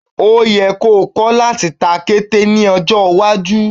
O yẹ́ ko kọ́ láti ta kété ní ọjọ́ iwájú.